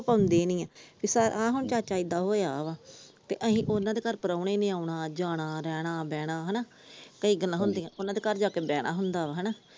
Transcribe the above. ਪਾਉਂਦੀ ਨੀ ਆ ਹੁਣ ਚਾਚਾ ਏਦਾਂ ਹੋਇਆ ਵਾ ਤੇ ਅਸੀਂ ਉਹਨਾਂ ਘਰ ਪਰੌਣੇ ਨੇ ਆਉਣ ਜਾਣਾ ਰਹਿਣਾ ਬਹਿਣਾ ਹਣਾ ਕਈ ਗੱਲਾਂ ਹੁੰਦੀਆਂ ਉਹਨਾਂ ਦੇ ਘਰ ਜਾ ਕੇ ਬਹਿਣਾ ਹੁੰਦਾ ਵਾ ਹਣਾ ।